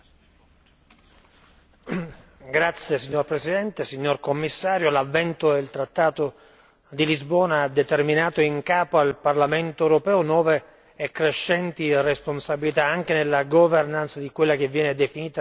Signor Presidente, signor Commissario, l'avvento del trattato di Lisbona ha determinato in capo al Parlamento europeo nuove e crescenti responsabilità, anche nella di quella che viene definita strategia di sicurezza interna.